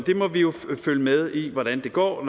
må jo følge med i hvordan det går